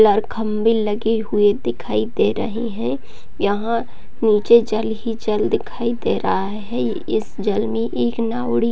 लाल खम्बे लगे हुए दिखाई दे रही है यहाँ नीचे जल ही जल दिखाई दे रहा है इस जल में एक नावड़ी--